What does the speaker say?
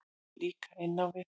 Líka inn á við.